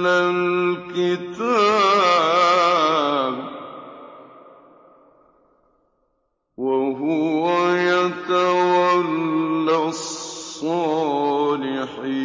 الْكِتَابَ ۖ وَهُوَ يَتَوَلَّى الصَّالِحِينَ